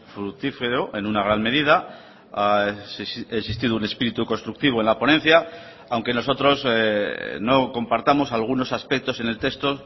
fructífero en una gran medida ha existido un espíritu constructivo en la ponencia aunque nosotros no compartamos algunos aspectos en el texto